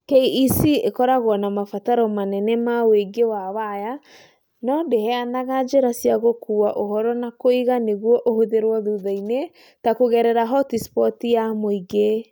KEC ĩkoragwo na mabataro manene ma ũingĩ wa waya no ndĩheanaga njĩra cia gũkuua ũhoro na kũiga nĩguo ũhũthĩrũo thutha-inĩ, ta kũgerera hotispoti ya mũingĩ.